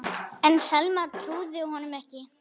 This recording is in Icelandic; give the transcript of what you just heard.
En Selma trúði honum ekki.